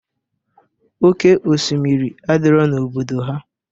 Oke osimiri adirọ n'obodo ha.